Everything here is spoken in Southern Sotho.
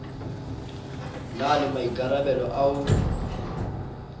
na le maikarabelo a ho